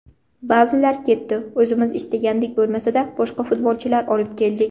Ba’zilar ketdi, o‘zimiz istagandek bo‘lmasada boshqa futbolchilar olib keldik.